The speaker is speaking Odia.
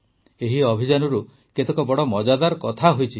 ଏହି ଅଭିଯାନରୁ କେତେକ ବଡ଼ ମଜାଦାର କଥା ହୋଇଛି